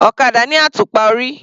Ọ̀kadà ní àtùpà orí.